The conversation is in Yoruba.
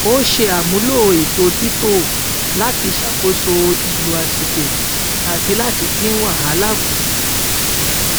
ó ṣe àmúlò ètò títò láti ṣàkóso ìlò àsìkò àti láti dín wàhálà kù